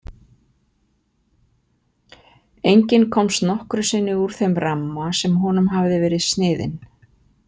Enginn komst nokkru sinni úr þeim ramma sem honum hafði verið sniðinn.